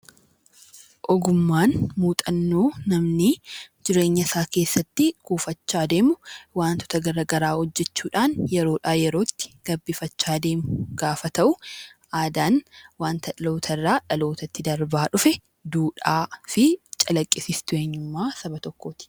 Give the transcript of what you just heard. Ogummaan muuxannoo namni jireenya isaa keessatti kuufachaa deemu, wantoota gara garaa hojjechuu dhaan yeroo dhaa yerootti gabbifachaa deemu gaafa ta'u; Aadaan wanta dhaloota irraa dhaloota tti darbaa dhufe duudhaa fi calaqqisiistuu eenyummaa saba tokkooti.